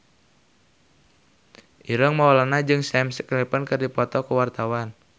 Ireng Maulana jeung Sam Claflin keur dipoto ku wartawan